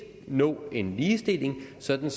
nå en ligestilling sådan